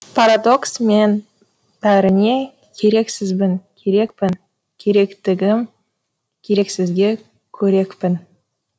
парадокс мен бәріне керексізбін керекпін керектігім керексізге қорекпін